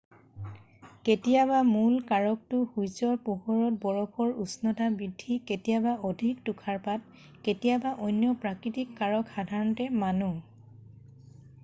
কেতিয়াবা মূল কাৰকটো সূৰ্যৰ পোহৰত বৰফৰ উষ্ণতা বৃদ্ধি কেতিয়াবা অধিক তুষাৰপাত কেতিয়াবা অন্য প্ৰাকৃতিক কাৰক সাধাৰণতে মানুহ